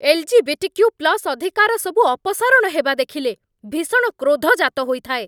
L G B T Q plus ଅଧିକାରସବୁ ଅପସାରଣ ହେବା ଦେଖିଲେ ଭୀଷଣ କ୍ରୋଧ ଜାତହୋଇଥାଏ।